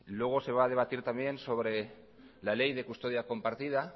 luego se va a debatir también sobre la ley de custodia compartida